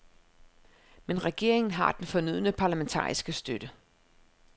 Men regeringen har den fornødne parlamentariske støtte.